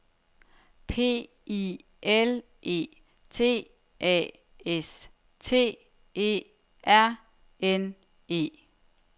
P I L E T A S T E R N E